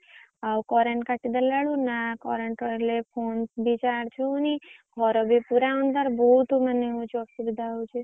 ଆଉ current କାଟିଦେଲା ବେଳକୁ ନା current ରହିଲେ phone ବି charge ହଉନି ଘର ବି ପୁରା ଅନ୍ଧାର ବହୁତ ମାନେ ହଉଛି ଅସୁବିଧା ହଉଛି।